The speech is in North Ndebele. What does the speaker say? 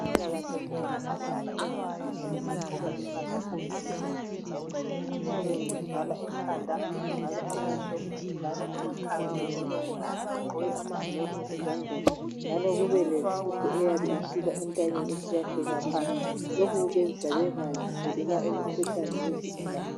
Abezempilakahle nxa beselapha izigulane bagqoka impahla zabo zokuzivikela kuyabe kuvala ekhanda kuvale amehlo bevale amakhala lemilomo bagqoke amagilovisi ezandleni njalo kubelesudu eyabe isuka entanyeni isiya fika phansi lokhu kubenza bengathelelwa imikhuhlane yizigulane.